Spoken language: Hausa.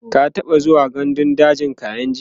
ka taɓa zuwa gandun dajin kainji?